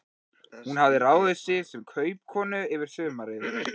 Hún hafði ráðið sig sem kaupakonu yfir sumarið.